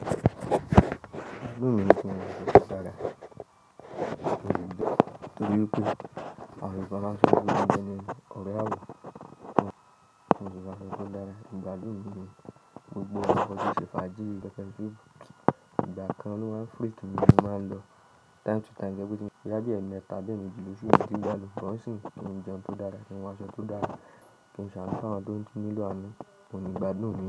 Ìgbádùn mi ni kí n sì máa sọ sísàrà torí wipe, àwọn èrò ọkọ̀ máa ṣíṣe déédéé, ọrẹ àwọn, wọ́n ń so pé àwọn kò dára. Ìgbádùn mi ni gbogbo àwọn ọkọ̀ tí ṣe fàájì peppẹ́r soup ìgbà kan ló máa ń freak mi, mo máa ń lọ time to time to jẹ́ pẹ́ bí tí mo bá rí i láti ẹ̀ẹ̀mẹta abi eemeji lòṣù, èyí tí ìgbàlódẹ́. Sugbon nsin kin je oúnjẹ tó dára, àwọn aṣọ tó dára, kí n sáànu fún àwọn tó ńilo aanu, òun ni ìgbádùn mi.